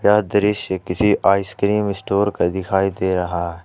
यह दृश्य किसी आइसक्रीम स्टोर का दिखाई दे रहा है।